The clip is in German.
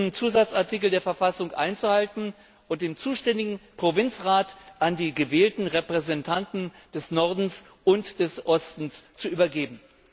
13. Zusatzartikel der Verfassung einzuhalten und den zuständigen Provinzrat an die gewählten Repräsentanten des Nordens und des Ostens zu übergeben.